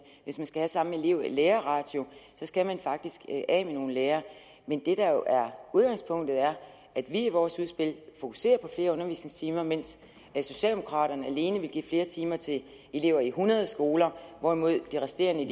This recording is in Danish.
skal have samme elevlærerratio skal man faktisk af med nogle lærere men det der jo er udgangspunktet er at vi i vores udspil fokuserer på flere undervisningstimer mens socialdemokraterne alene vil give flere timer til elever i hundrede skoler hvorimod de resterende en